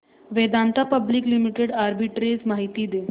Vedanta public limited arbitrage माहिती दे